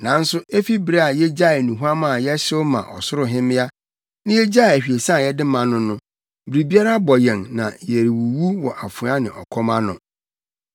Nanso efi bere a yegyaee nnuhuam a yɛhyew ma Ɔsoro Hemmea, na yegyaee ahwiesa a yɛde ma no no, biribiara abɔ yɛn na yɛrewuwu wɔ afoa ne ɔkɔm ano.”